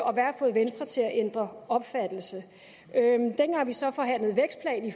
og hvad har fået venstre til at ændre opfattelse dengang vi så forhandlede vækstplan i